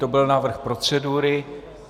To byl návrh procedury.